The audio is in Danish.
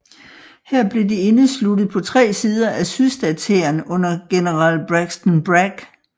Her blev de indesluttet på tre sider af sydstatshæren under general Braxton Bragg